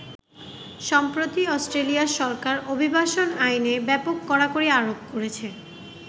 সম্প্রতি অষ্ট্রেলিয়ার সরকার অভিবাসন আইনে ব্যাপক কড়াকড়ি আরোপ করেছে।